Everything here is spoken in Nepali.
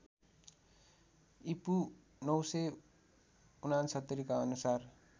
ईपू ९६९ का अनुसार